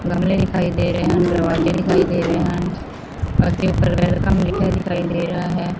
ਗਮਲੇ ਦਿਖਾਈ ਦੇ ਰਹੇ ਹਨ ਦਰਵਾਜੇ ਦਿਖਾਈ ਦੇ ਰਹੇ ਹਨ ਅਤੇ ਉੱਪਰ ਵੈਲਕਮ ਲਿਖਿਆ ਦਿਖਾਈ ਦੇ ਰਿਹਾ ਹੈ।